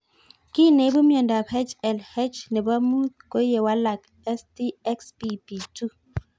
Kiy neipu miondop HLH nepo mut ko ye walak STXBP2